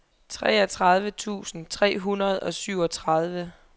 treogtredive tusind tre hundrede og syvogtredive